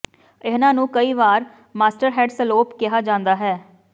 ਇਹਨਾਂ ਨੂੰ ਕਈ ਵਾਰ ਮਾਸਟਹੈਡ ਸਲੌਪ ਕਿਹਾ ਜਾਂਦਾ ਹੈ